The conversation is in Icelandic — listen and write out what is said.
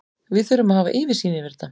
Við þurfum að hafa yfirsýn yfir þetta.